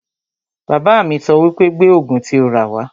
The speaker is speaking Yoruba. Bàbá mi sọ wípé 'Gbé Ògùn tí o rà wá'